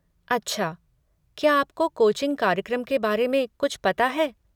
अच्छा, क्या आपको कोचिंग कार्यक्रम के बारे में कुछ पता है?